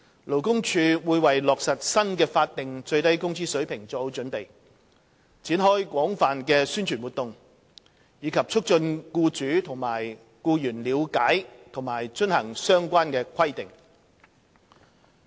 勞工處會為落實新的法定最低工資水平作好準備，展開廣泛的宣傳活動，以促進僱主和僱員了解及遵行相關規定。